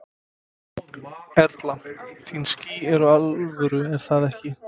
Erla: Þín ský eru alvöru er það ekki?